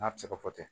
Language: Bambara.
N'a tɛ se ka fɔ tɛ